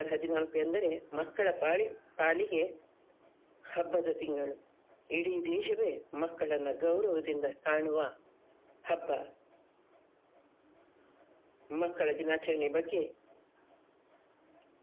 November ಹದಿನಾಲ್ಕು ಎಂದರೆ ಮಕ್ಕಳ ಪಾಲಿ~ ಪಾಲಿಗೆ ಹಬ್ಬದ ತಿಂಗಳು ಇಡೀ ದೇಶವೇ ಮಕ್ಕಳನ್ನ ಗೌರವದಿಂದ ಕಾಣುವ ಹಬ್ಬ ಮಕ್ಕಳ ದಿನಾಚರಣೆಯ ಬಗ್ಗೆ .